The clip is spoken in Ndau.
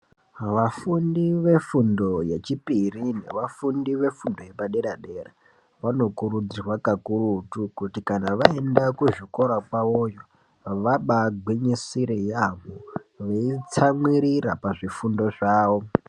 Vafundi vefundo yechipiri nevafundi vefundo vepadera dera vanokurudzirwa kakurutu kuti kana vaendakuzvikoa kwavoyo vabagwinyisire yaamho veitsamwirira pazvifundo zvavo.